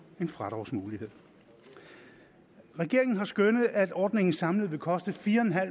en fradragsmulighed regeringen har skønnet at ordningen samlet vil koste fire